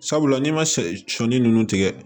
Sabula n'i ma sɛ sɔɔni ninnu tigɛ